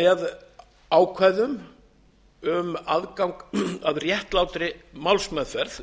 með ákvæðum um aðgang að réttlátri málsmeðferð